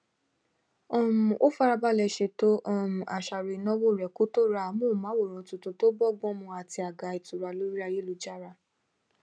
um ó farabalẹ ṣètò um àṣàrò ìnáwó rẹ kó tó ra amóhùnmáwòrán tuntun tó bọgbọn mu àti àga ìtura lórí ayélujára